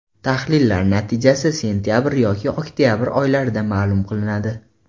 Tahlillar natijasi sentabr yoki oktabr oylarida ma’lum qilinadi.